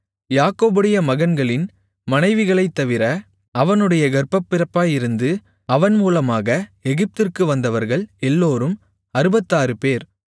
யாக்கோபுடைய மகன்களின் மனைவிகளைத் தவிர அவனுடைய கர்ப்பப்பிறப்பாயிருந்து அவன் மூலமாக எகிப்திற்கு வந்தவர்கள் எல்லோரும் அறுபத்தாறுபேர்